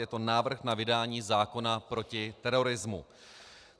Je to návrh na vydání zákona proti terorismu.